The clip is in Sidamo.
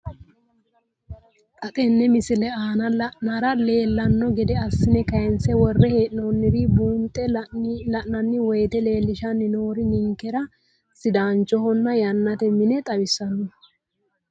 Xa tenne missile aana la'nara leellanno gede assine kayiinse worre hee'noonniri buunxe la'nanni woyiite leellishshanni noori ninkera sidaanchonna yannate mine xawissanno.